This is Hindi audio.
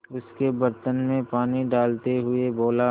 उसके बर्तन में पानी डालते हुए बोला